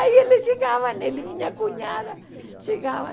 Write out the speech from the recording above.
Aí eles chegavam, ele e minha cunhada, chegavam.